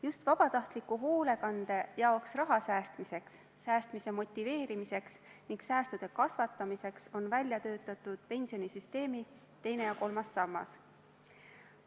Just vabatahtliku hoolekande jaoks raha säästmiseks, säästmise motiveerimiseks ning säästude kasvatamiseks on välja töötatud pensionisüsteemi teine ja kolmas sammas.